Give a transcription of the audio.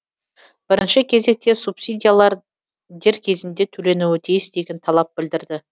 бірінші кезекте субсидиялар дер кезінде төленуі тиіс деген талап білдірді